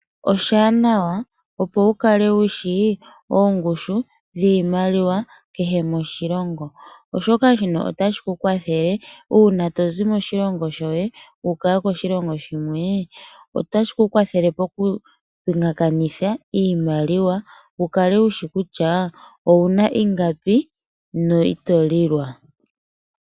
Oshili oshiwanawana opo wu kale wushi oongushu dhiimaliwa ikehe moshilongo, oshoka shino otashi ku kwathele uuna tozi moshilongo shoye wuuka koshilongo shimwe otashi ku kwathele poku pingakanitha iimaliwa wu kale wushi kutya owuna ingapi no ito lilwa.